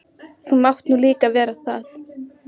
Það hvarflar ekki að mér fyrr en íbúðin gljáir.